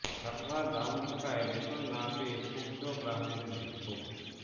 server down থাকায় ration না পেয়ে ক্ষুদ্ধ গ্রাহকদের বিক্ষোভ